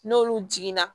N'olu jiginna